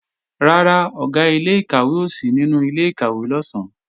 Rárá, Ọ̀gá ilé-ìkàwé ò sí nínú ilé-ìkàwé lọ̀sán